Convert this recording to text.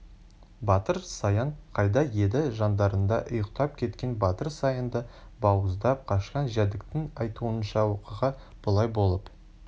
батыр саян қайда еді жандарында ұйықтап кеткен батыр саянды бауыздап қашқан жәдіктің айтуынша оқиға былай болып